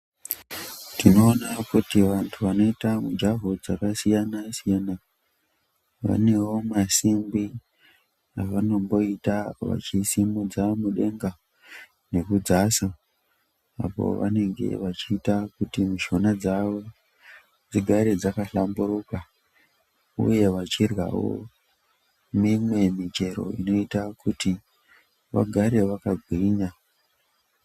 Tinoona kuti vanthu vanoita mijaho dzakasiyana siyana vanewo masimbi avanomboita vachisimudza mudenga nekudzasa apo vanenge vachiita kuti mishuna dzavo dzigare dzakahlamburuka uye vachirywawo mimwe michero inoita kuti vagare vakagwinya.